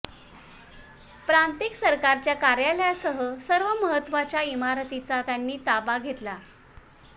प्रांतिक सरकारच्या कार्यालयासह सर्व महत्त्वाच्या इमारतींचा त्यांनी ताबा घेतला